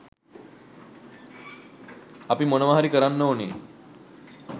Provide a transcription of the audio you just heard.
අපි මොනවා හරි කරන්න ඔනෑ